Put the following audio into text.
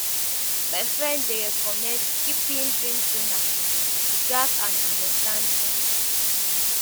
My friend dey recommend keeping dream journal to track and understand dreams.